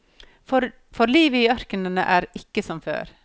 For livet i ørkenen er ikke som før.